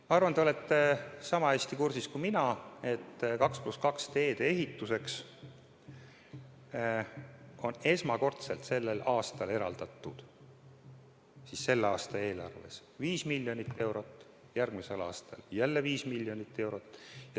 Ma arvan, et te olete niisama hästi kursis kui mina, et 2 + 2 teede ehituseks on esmakordselt sellel aastal, selle aasta eelarves eraldatud 5 miljonit eurot ja järgmisel aastal jälle 5 miljonit eurot.